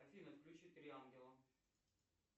афина включи три ангела